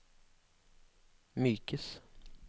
mykes